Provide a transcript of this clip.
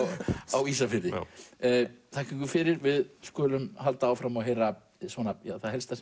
á Ísafirði þakka ykkur fyrir við skulum halda áfram og heyra það helsta sem